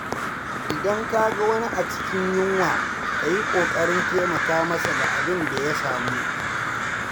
Idan ka ga wani a cikin yunwa, ka yi ƙoƙarin taimaka masa da abin da ya samu.